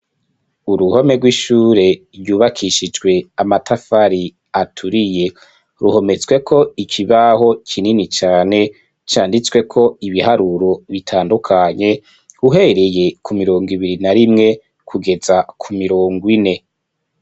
Uruhome rw'ishure ryubakishijwe amatafari aturiye. Ruhometsweko ikibaho kinini cane canditsweko ibiharuro bitandukanye, uhereye ku mirongo ibiri na rimwe kugeza ku mirongo ine.